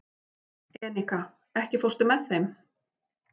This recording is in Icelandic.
Enika, ekki fórstu með þeim?